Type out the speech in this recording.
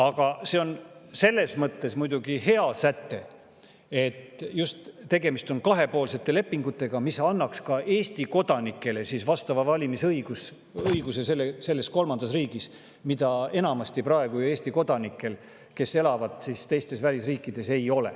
Aga see on selles mõttes muidugi hea säte, et tegemist on just kahepoolsete lepingutega, mis annaks ka Eesti kodanikele selles kolmandas riigis vastava valimisõiguse, mida praegu Eesti kodanikel, kes elavad välisriikides, enamasti ei ole.